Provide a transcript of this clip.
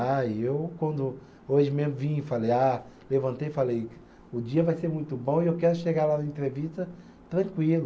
Aí eu, quando hoje mesmo vim e falei, ah, levantei e falei, o dia vai ser muito bom e eu quero chegar lá na entrevista tranquilo.